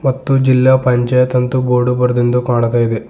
ಮತ್ತು ಜಿಲ್ಲಾ ಪಂಚಾಯತ್ ಅಂತ ಬೋರ್ಡ್ ಬರೆದಿರುವುದು ಕಾಣ್ತಾ ಇದೆ.